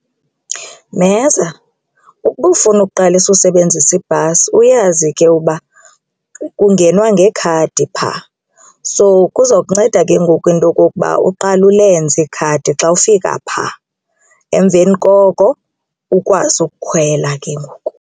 Mheza, ukuba ufuna ukuqalisa usebenzisa ibhasi uyazi ke uba kungenwa ngekhadi phaa, so kuza kunceda ke ngoku into okokuba uqale ulenze ikhadi xa ufika phaa emveni koko ukwazi ukukhwela ke ngoku.